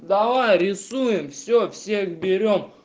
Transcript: давай рисуем все всех берём